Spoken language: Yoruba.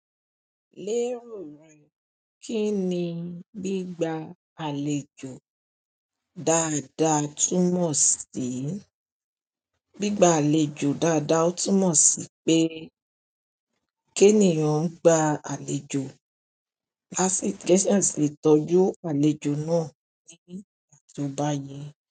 Lérò rẹ, kí ni gbígba àlejò dáadáa túmọ̀ sí? Gbígba àlejò dáadáa ó túmọ̀ sí pé, kí ènìyàn gba àlejò lásìkò ṣẹ́ẹ̀sì lè tọ́jú àlejò náà níbi ìgbà tó bá yẹ.